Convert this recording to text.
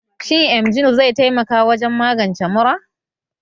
Shin emgyl zai taimaka wajen magance mura?